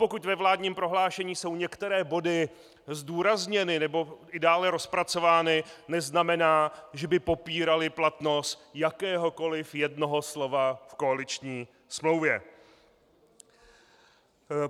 Pokud ve vládním prohlášení jsou některé body zdůrazněny nebo i dále rozpracovány, neznamená, že by popíraly platnost jakéhokoliv jednoho slova v koaliční smlouvě.